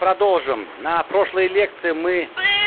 продолжим на прошлой лекции мы